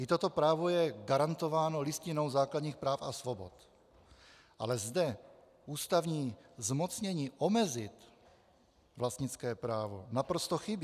I toto právo je garantováno Listinou základních práv a svobod, ale zde ústavní zmocnění omezit vlastnické právo naprosto chybí.